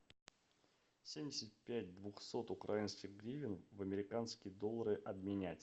семьдесят пять двухсот украинских гривен в американские доллары обменять